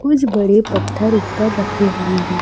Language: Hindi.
कुछ बड़े पत्थर ऊपर रखे हुए हैं।